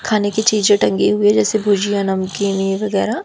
खाने की चीजे टंगी हुई जैसे भुजिया नमकीन वगैरा--